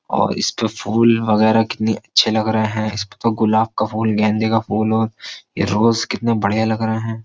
और इसपे फूल वगेरा कितने अच्छे लग रहे हैं इसपे तो गुलाब का फूल गेंदे का फूल और ये रोज कितने बढिया लग रहे है।